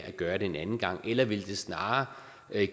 at gøre det en anden gang eller ville det snarere